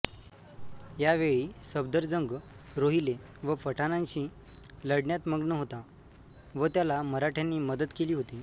यावेळी सफदरजंग रोहिले व पठाणांशी लढण्यात मग्न होता व त्याला मराठ्यांनी मदत केली होती